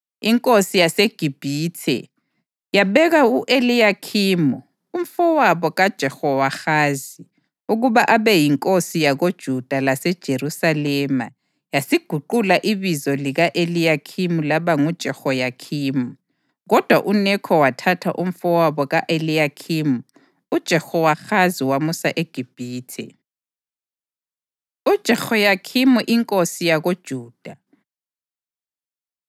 Inkosi yaseGibhithe, yabeka u-Eliyakhimu, umfowabo kaJehowahazi, ukuba abe yinkosi yakoJuda laseJerusalema yasiguqula ibizo lika-Eliyakhimu laba nguJehoyakhimi. Kodwa uNekho wathatha umfowabo ka-Eliyakhimu uJehowahazi wamusa eGibhithe. UJehoyakhimi Inkosi YakoJuda